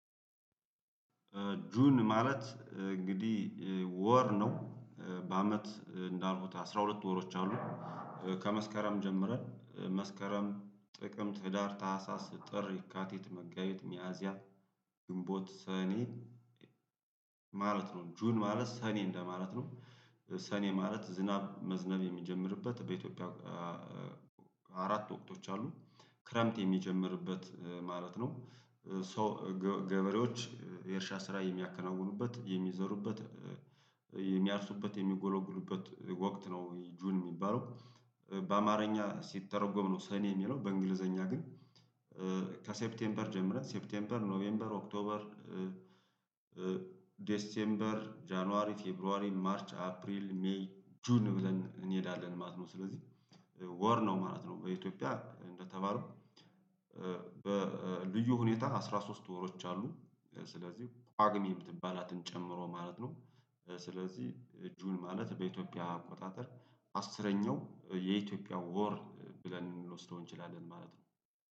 ጁን ማለት እንግዲህ ወር ነው። በአመት እንዳልኩት አስራ ሁለት ወሮች አሉ። ከመስከረም ጀምረን መስከረም፣ ጥቅምት፣ ህዳር፣ ታህሳስ፣ ጥር፣ የካቲት፣ መጋቢት፣ ሚያዚያ፣ ግንቦት፣ ሰኔ፣ ማለት ነው፤ ጁን ማለት ሰኔ እንደማለት ነው። ሰኔ ማለት ዝናብ መዝነብ የሚጀምርበት በኢትዮጵያ አራት ወቅቶች አሉ። ክረምት የሚጀምርበት ማለት ነው። ገበሬዎች የእርሻ ስራ የሚያከናውኑበት፣ የሚዘሩበት፣ የሚያርሱበት፣ የሚጎለጉሉበት ወቅት ነው ጁን የሚባለው። በአማርኛ ሲተረጎም ነው ሰኔ የሚለው በእንግሊዘኛ ግን ከሴፕቴምፐር ጀምረንት ሴፕቴምበር፣ ኖቬምበር፣ ኦክቶበር፣ ዴሴምበር፣ ጃንዋሪ፣ ፌብሩዋሪ፣ ማርች፣ አፕሪል፣ ሜይ፣ ጁን ብለን እንሄዳለን ማለት ነው። ስለዚህ ወር ነው ማለት ነው በኢትዮጵያ እንደተባለው በልዩ ሁኔታ አስራ ሶስት ወሮች አሉ። ስለዚህ ጷግሜ የምትባላትን ጨምሮ ማለት ነው። ስለዚህ እጁን ማለት በኢትዮጵያ አቆጣጠር አስረኛው የኢትዮጵያ ወር ብለን ልንወስደው እንችላለን ማለት ነው።